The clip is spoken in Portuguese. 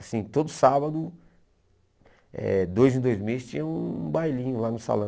Assim, todo sábado, eh dois em dois mês, tinha um bailinho lá no salão.